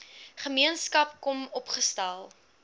gemeenskap kom opgestel